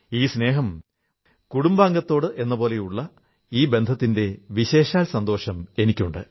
ഈ സ്നേഹം കുടുംബാഗത്തോടെന്നപോലുള്ള ഈ ബന്ധത്തിന്റെ വിശേഷാൽ സന്തോഷം എനിക്കുണ്ട്